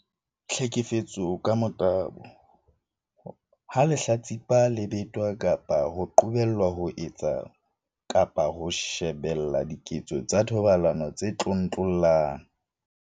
Tlhekefetso ka motabo- Ha lehlatsipa le betwa kapa le qobelwa ho etsa kapa ho shebella diketso tsa thobalano tse tlontlollang.